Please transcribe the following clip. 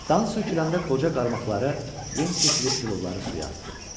Dan söküləndə qoca qarmaqları yem keçirib tilovları suya atdı.